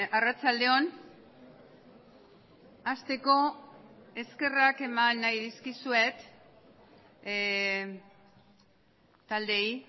arratsalde on hasteko eskerrak eman nahi dizkizuet taldeei